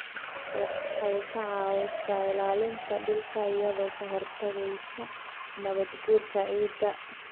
Waxay ka caawisaa ilaalinta dhulka iyadoo ka hortagaysa nabaadguurka ciidda.